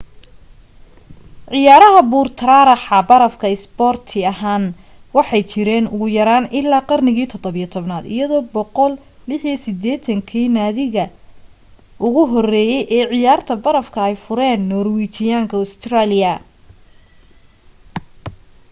ciyaaraha buur-taraaraxa barafka isboorti ahaan waxay jireen ugu yaraan illaa qarnigii 17aad iyadoo 186-gii naadiga ugu horreeyay ee ciyaarta barafka ay fureen norwijiyaanka australiya